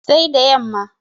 Sai da yamma